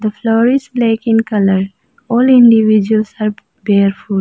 floor is black in colour all individuals are barefoot--